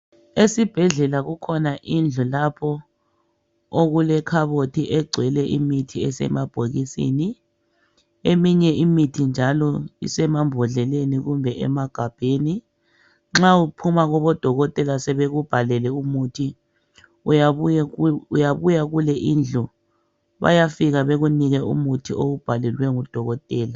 Esibhedlela kukhona indlu lapho okule kabothi ekugcwele imithi isemabhokisini. Iminye imithi njalo isemabhodleni kumbe emagambeni, nxa uphuma kubodokotela besekubhalele imuthi, uyabuya kule indlu, bayafika bekunike umuthi owubhalele ngudokotela.